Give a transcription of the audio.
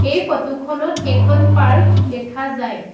এই ফটো খনত এখন পাৰ্ক দেখা যায়।